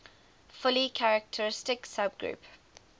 fully characteristic subgroup